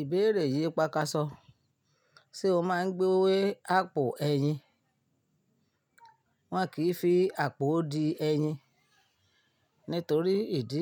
Ìbéèrè yìí pákásọ, sé o máa ń gbé àpò ẹyin? Wọn kì í fi àpò di ẹyin nítorí ìdí